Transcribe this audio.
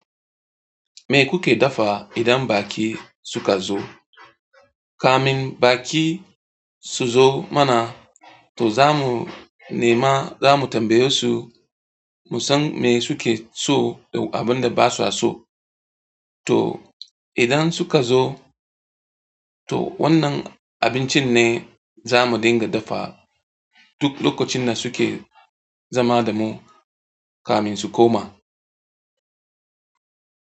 Me kuke dafa idan baƙi suka zo? Kamin baƙi su zo mana, to zamu nema zamu tambaye su, mu san me suke so da abin da ba su so. To idan suka zo, to wannan abincin ne zamu dinga dafawa duk lokacin da suke zama da mu kamin su koma.